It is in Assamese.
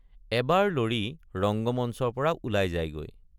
এবাৰ লৰি ৰঙ্গমঞ্চৰপৰা ওলাই যায়গৈ।